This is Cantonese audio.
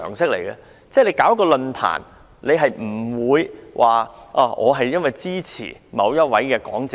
如你舉辦一個論壇，不會只邀請支持你的講者。